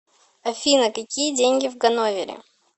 афина какие деньги в ганновере